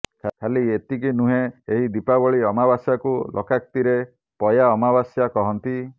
ଖାଲି ଏତିକି ନୁହେଁ ଏହି ଦୀପାବଳୀ ଅମାବାସ୍ୟାକୁ ଲୋକାକ୍ତିରେ ପୟା ଅମାବାସ୍ୟା କହନ୍ତି